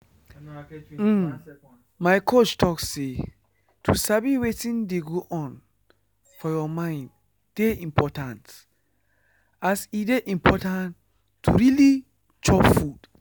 uhm my coach talk say to sabi wetin dey go on for your mind dey important as e dey important to really chop food.